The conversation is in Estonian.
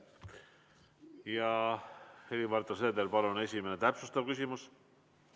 Helir-Valdor Seeder, palun, täpsustav küsimus!